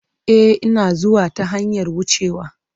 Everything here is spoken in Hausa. E, Ina zuwa ta hanyar wucewa.